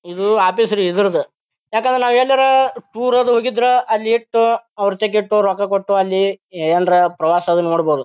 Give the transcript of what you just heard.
ಇದು ಆಫೀಸ್ ರೀ ಇದರದ ಯಾಕಂದ್ರ ನಾವು ಎಲ್ಲರ ಟೂರ್ ಅದು ಹೋಗಿದ್ರ ಅಲ್ಲಿ ಇಟ್ಟು ಅವೃತೆಗಿಟ್ಟು ರೊಕ್ಕ ಕೊಟ್ಟು ಅಲ್ಲಿ ಏನ್ರ ಪ್ರವಾಸದು ನೋಡಬಹುದ.